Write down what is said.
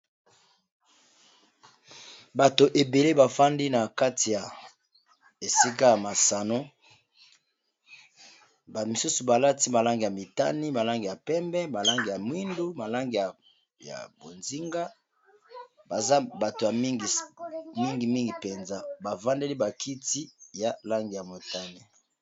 Bato ebele bafandi na kati ya esika ya masano bamisusu balati malangi ya mitani malangi ya pembe malangi ya mwindu malangi aya bozinga baza bato ya mingi mingimingi mpenza bafandeli bakiti ya langi ya motani.